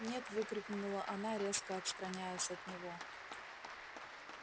нет выкрикнула она резко отстраняясь от него